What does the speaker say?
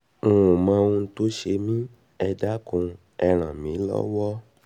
n ò mọ ohun tó ń ṣe mí ẹ dákun ẹ ràn mí lọ́wọ́